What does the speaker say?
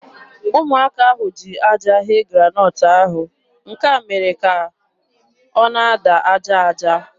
Ụmụaka ahụ ji aja ghee granọt ahụ. Nke a mere ka ọ na-ada aja aja.